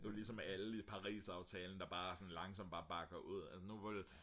det er jo ligesom alle parisaftalen der bare sådan langsomt bare bakker ud nu hvor det er